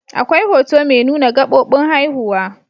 Akwai hoto mai nuna gabobin haihuwa.